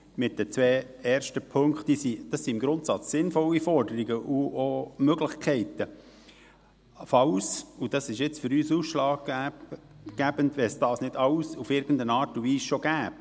Die zwei ersten Punkte sind im Grundsatz sinnvolle Forderungen und auch Möglichkeiten, wenn es – und das ist jetzt für uns ausschlaggebend – diese nicht alle in irgendeiner Art und Weise schon gäbe.